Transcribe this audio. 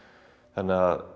þannig að